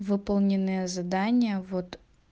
выполненные задания вот